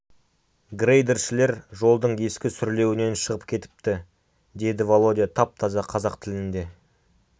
грейдершілер жолдың ескі сүрлеуінен шығып кетіпті деді володя тап-таза қазақ тілінде